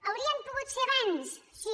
haurien pogut ser abans sí